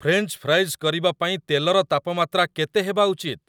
French fries କରିବା ପାଇଁ ତେଲର ତାପମାତ୍ରା କେତେ ହେବା ଉଚିତ୍?